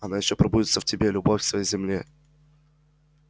она ещё пробудится в тебе любовь к своей земле